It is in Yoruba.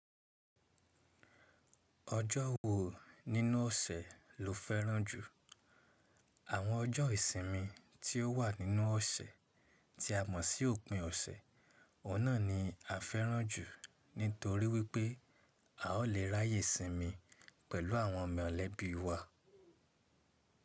Ọjọ́ wo nínú ọ̀sẹ̀ lo fẹ́ràn jù? Àwọn ọjọ́ ìsinmi tí ó wà nínú ọ̀sẹ̀ tí a mọ̀ sí òpin ọ̀sẹ̀, ọ̀nà ni a fẹ́ràn jù nítorí wípé a ó lè ráàyè sinmi pẹ̀lú àwọn mọ̀lẹ́bí wa.